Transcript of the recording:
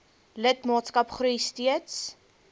lidmaatskap groei steeds